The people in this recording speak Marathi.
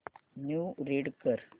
न्यूज रीड कर